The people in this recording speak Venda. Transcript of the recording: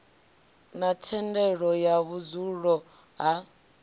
na thendelo ya vhudzulo ha